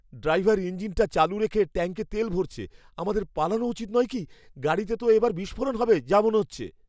Driver ইঞ্জিনটা চালু রেখে ট্যাঙ্কে তেল ভরছে! আমাদের পালানো উচিত নয় কি? গাড়িতে তো এবার বিস্ফোরণ হবে যা মনে হচ্ছে।